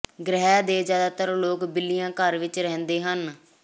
ਗ੍ਰਹਿ ਦੇ ਜ਼ਿਆਦਾਤਰ ਲੋਕ ਬਿੱਲੀਆਂ ਘਰ ਵਿਚ ਰਹਿੰਦੇ ਹਨ